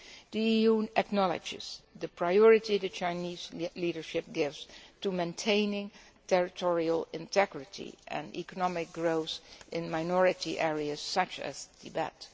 The EU acknowledges the priority the Chinese leadership gives to maintaining territorial integrity and economic growth in minority areas such as Tibet.